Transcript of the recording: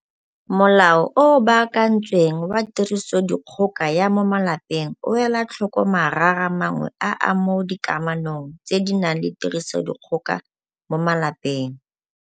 Molao o o Baakantsweng wa Tirisodikgoka ya mo Malapeng o ela tlhoko marara mangwe a a mo dikamanong tse di nang le tirisodikgoka mo malapeng.